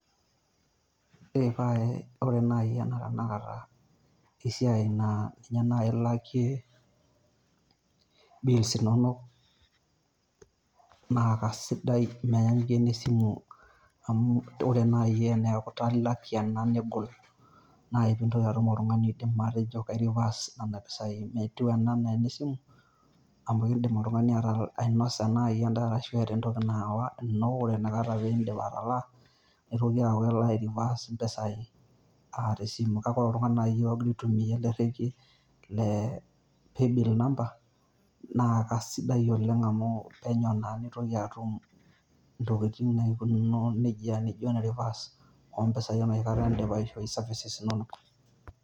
Ore naii ena tanakata esiai naa ninye naii ilakie bills inonok naa kesidai menyanyukie ene simu amu ore naii teneeku italaa ilak ena negol naaji piitum oltung'ani oji kaireverse Nena pisai, metiu ena enaa enesimu amu keidim oltung'ani ainosa naaji endaa ashu eeta entoki naa ore Ina Kata pee iidip atalaa neitoki aaku kelo aireverse empisai aa tesimu kake ore oltung'ani oitimia ele rrekie le playbill number naa kesidai oleng' amu penyo naa neitoki atum Intokitin naakunino nejia naijio ene reverse Enoshi Kata idipa aishoi services inonok.